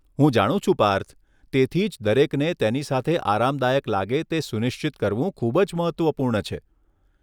હું જાણું છું પાર્થ, તેથી જ દરેકને તેની સાથે આરામદાયક લાગે તે સુનિશ્ચિત કરવું ખૂબ જ મહત્વપૂર્ણ છે.